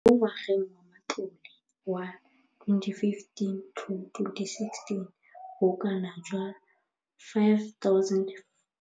Mo ngwageng wa matlole wa 2015,16, bokanaka R5 703 bilione e ne ya abelwa lenaane leno.